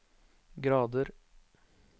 grader